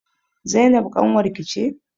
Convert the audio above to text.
Zainab ƙanwar ki ce?